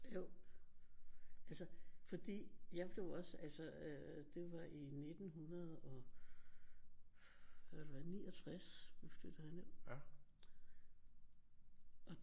Jo altså fordi jeg blev også altså øh det var i 1969 vi flyttede herned og